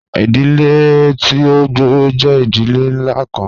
Idile ti o gbooro jẹ idile nla kan